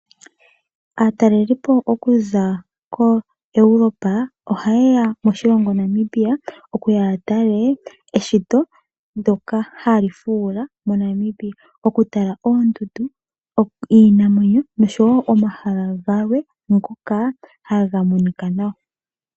Aatalelipo okuza ko Europe oha yeya moshilongo Namibia okuya yatale eshito ndyoka hali fuula mo Namibia. Okutala oondundu iinamwenyo noshowoo omahala galwe ngoka hagamonika nawa.